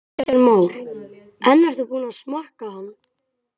Kristján Már: En ertu búinn að smakka hann?